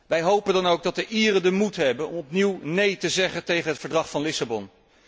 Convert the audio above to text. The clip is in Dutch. Wij hopen dan ook dat de Ieren de moed hebben om opnieuw neen te zeggen tegen het Verdrag van Lissabon.